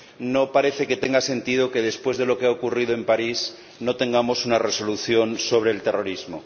No parece que tenga sentido que, después de lo que ha ocurrido en París, no tengamos una resolución sobre el terrorismo.